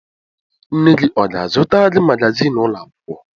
Nne gị ọ ga-azụtara gị magazin ụlọ akwụkwọ?